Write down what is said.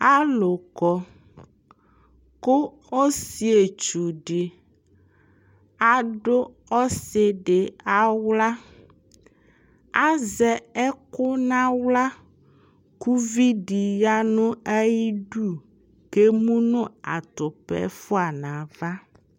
alʋ kɔ kʋ ɔsii ɛtwʋ di adʋ ɔsiidi ala, azɛ ɛkʋ nʋ ala kʋ ʋvidi yanʋ ayidʋ kʋ ɛmʋnʋ atʋpa ɛƒʋa nʋ aɣa